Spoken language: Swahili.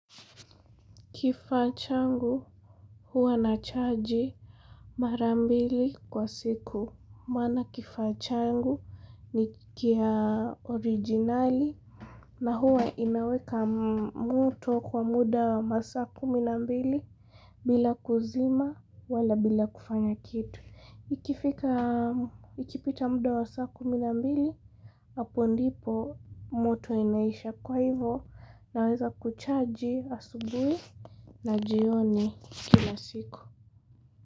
Kifaa changu huwa na chargi marambili kwa siku. Maana kifachangu ni kiya originali na huwa inaweka moto kwa muda wa masaa kumi na mbili bila kuzima wala bila kufanya kitu. Ikifika, ikipita muda wa saa kumi na mbili, hapo ndipo moto inaisha kwa hivo naweza kuchaji asubui na jioni kila siku.